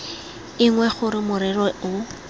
e nngwe gore morero o